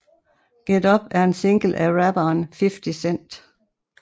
Get Up er en single af rapperen 50 Cent